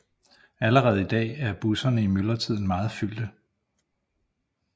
Allerede i dag er busserne i myldretiden meget fyldte